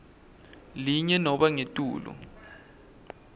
linye nobe ngetulu